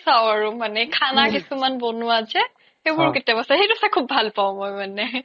আৰু খানা কিছুমান বনোৱা যে সেইবোৰ কেতিয়াবা চাও সেইবোৰ চাই খুব ভাল পাও মানে